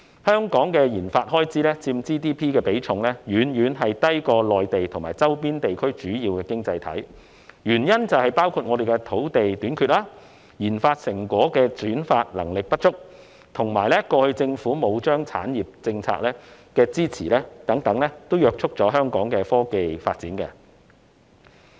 香港的研發開支佔 GDP 的比重遠遠低於內地和周邊地區的主要經濟體，原因包括我們的土地短缺，轉化研發成果的能力不足，以及過去欠缺政府產業政策的支持等，這些原因皆約束了香港的科技發展。